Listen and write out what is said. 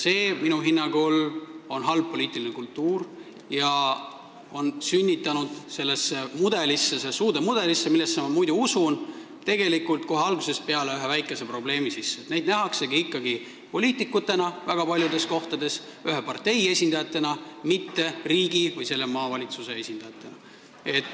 See on minu hinnangul halb poliitiline kultuur, mis on sünnitanud sellesse uude mudelisse, millesse ma muidu usun, kohe algusest peale ühe väikese probleemi: väga paljudes kohtades nähakse neid juhte ikkagi poliitikutena, ühe partei esindajatena, mitte riigi või selle maakonna esindajatena.